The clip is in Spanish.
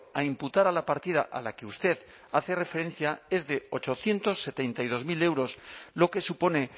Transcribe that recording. a imputar a la partida a la que usted hace referencia es de ochocientos setenta y dos mil euros lo que supone